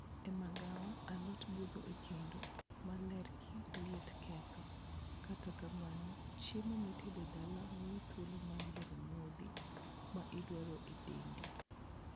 E magawa, alot budho e kendo ma ler gi liet ketho. Kata kamano, " chiemo mitedo dala miithuolo mar yiero modhi ma idwaro e dendi.